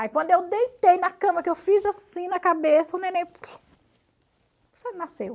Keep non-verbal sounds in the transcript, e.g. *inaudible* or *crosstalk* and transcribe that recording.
Aí quando eu deitei na cama, que eu fiz assim na cabeça, o neném... *unintelligible* nasceu.